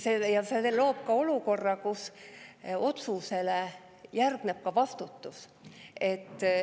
See loob ka olukorra, kus otsusele järgneb vastutus.